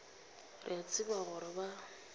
re a tseba gore ba